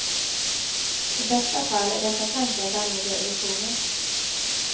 I bästa fall är dessa tankar dammiga illusioner.